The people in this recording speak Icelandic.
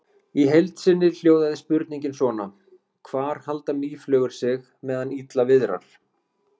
Í heild sinni hljóðaði spurningin svona: Hvar halda mýflugur sig meðan illa viðrar?